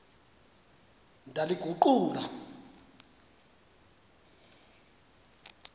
ndaliguqula